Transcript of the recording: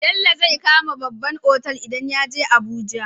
Bello zai kama babban otal idan yaje abuja